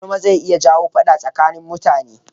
gulma zai iya jawo faɗa tsakanin mutane